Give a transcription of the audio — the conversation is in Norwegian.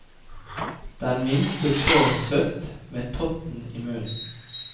Den minste sov søtt, med totten i munn.